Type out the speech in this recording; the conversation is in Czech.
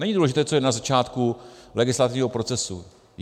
Není důležité, co je na začátku legislativního procesu.